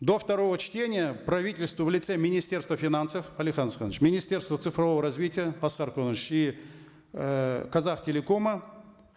до второго чтения правительство в лице министерства финансов алихан асханович министерства цифрового развития аскар куанышевич и э казахтелекома